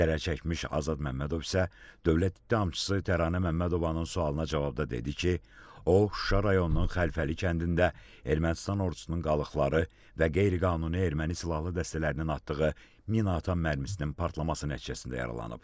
Zərər çəkmiş Azad Məmmədov isə Dövlət ittihamçısı Təranə Məmmədovanın sualına cavabda dedi ki, o Şuşa rayonunun Xəlfəli kəndində Ermənistan ordusunun qalıqları və qeyri-qanuni erməni silahlı dəstələrinin atdığı minaatan mərmisinin partlaması nəticəsində yaralanıb.